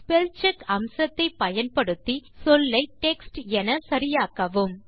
spellcheck அம்சத்தை பயன்படுத்தி சொல்லை டெக்ஸ்ட் என சரியாக்கவும்